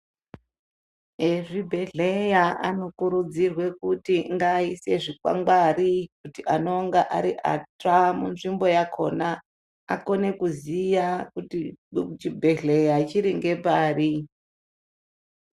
Ezvibhedhlera anokurudzirwa kuti ngaise zvikwangwari kuti anonga ari atsva muzvimbo yakona akone kuziya kuti chibhedhlera chiri ngepari .